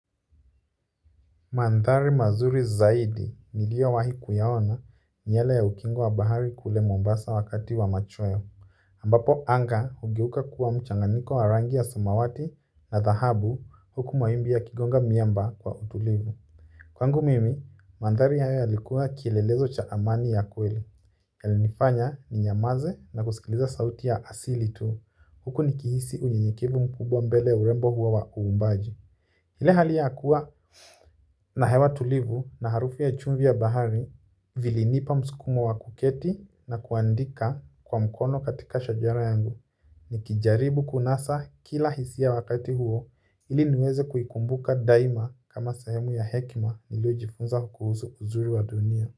Mandhari mazuri zaidi niliowahi kuyaona ni yale ya ukingo wa bahari kule Mombasa wakati wa machweo. Ambapo anga hugeuka kuwa mchanganyiko wa rangi ya samawati na dhahabu huku mawimbi yakigonga miamba kwa utulivu. Kwangu mimi mandhari haya yalikuwa kielelezo cha amani ya kweli. Yalinifanya ninyamaze na kusikiliza sauti ya asili tu. Huku nikihisi unyenyekevu mkubwa mbele ya urembo huo wa uumbaji ile hali ya kuwa na hewa tulivu na harufu ya chumvi ya bahari. Vilinipa msukumo wa kuketi na kuandika kwa mkono katika shajara yangu nikijaribu kunasa kila hisia wakati huo ili niweze kuikumbuka daima kama sehemu ya hekima niliojifunza kuhusu uzuri wa dunia.